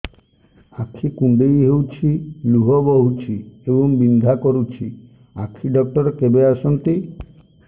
ଆଖି କୁଣ୍ଡେଇ ହେଉଛି ଲୁହ ବହୁଛି ଏବଂ ବିନ୍ଧା କରୁଛି ଆଖି ଡକ୍ଟର କେବେ ଆସନ୍ତି